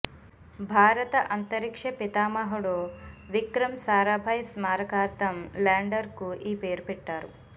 భారత అంతరిక్ష పితామహుడు విక్రమ్ సారాభాయ్ స్మారకార్థం ల్యాండర్కు ఈ పేరు పెట్టారు